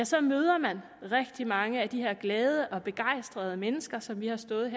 så møder man rigtig mange af de her glade og begejstrede mennesker som vi har stået